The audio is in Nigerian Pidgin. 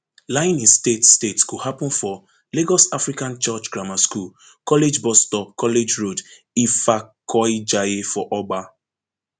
lying in state state go happun for lagos african church grammar school college bus stop college road ifakoijaiye for ogba